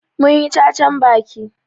Mun yi cacan baki.